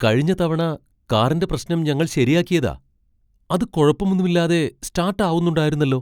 കഴിഞ്ഞ തവണ കാറിന്റെ പ്രശ്നം ഞങ്ങൾ ശരിയാക്കിയതാ, അത് കുഴപ്പമൊന്നുമില്ലാതെ സ്റ്റാട്ട് ആവുന്നുണ്ടാരുന്നല്ലോ.